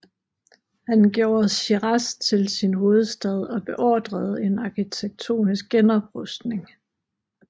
Han gjorde Shiraz til sin hovedstad og beordrede en arkitektonisk genoprustning